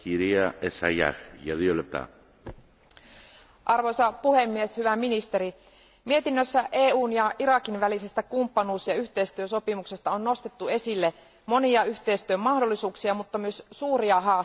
Arvoisa puhemies, hyvä ministeri, mietinnössä EUn ja Irakin välisestä kumppanuus ja yhteistyösopimuksesta on nostettu esille monia yhteistyön mahdollisuuksia mutta myös suuria haasteita, joita on pystyttävä Irakissa vielä ratkaisemaan.